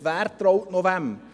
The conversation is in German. Wer traut noch wem?